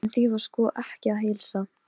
Varmar, hvað er á áætluninni minni í dag?